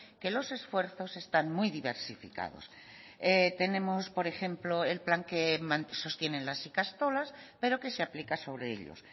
que los esfuerzos están muy diversificados tenemos por ejemplo el plan que sostienen las ikastolas pero que se aplica sobre ellos